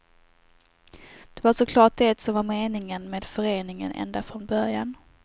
Det var så klart det som var meningen med föreningen ända från början.